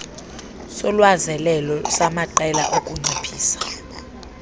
solwazelelo samaqela okunciphisa